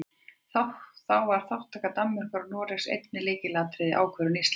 Þá var þátttaka Danmerkur og Noregs einnig lykilatriði í ákvörðun Íslands.